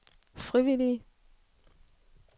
frivillige